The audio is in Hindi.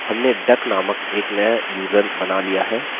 हमने duck नामक एक नया यूज़र बना लिया है